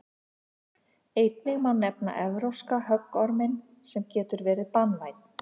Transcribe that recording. einnig má nefna evrópska höggorminn sem getur verið banvænn